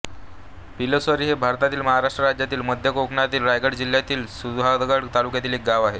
पिलोसरी हे भारतातील महाराष्ट्र राज्यातील मध्य कोकणातील रायगड जिल्ह्यातील सुधागड तालुक्यातील एक गाव आहे